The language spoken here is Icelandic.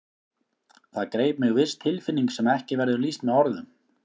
Það greip mig viss tilfinning sem ekki verður lýst með orðum.